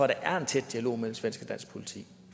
der er en tæt dialog mellem svensk og dansk politi